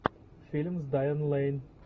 фильм с дайан лэйн